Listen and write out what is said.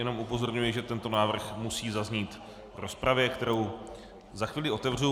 Jenom upozorňuji, že tento návrh musí zaznít v rozpravě, kterou za chvíli otevřu.